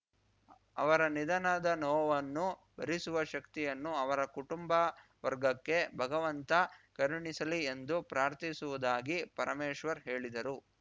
ಅವರ ನಿಧನದ ನೋವನ್ನು ಭರಿಸುವ ಶಕ್ತಿಯನ್ನು ಅವರ ಕುಟುಂಬ ವರ್ಗಕ್ಕೆ ಭಗವಂತ ಕರುಣಿಸಲಿ ಎಂದು ಪ್ರಾರ್ಥಿಸುವುದಾಗಿ ಪರಮೇಶ್ವರ್‌ ಹೇಳಿದರು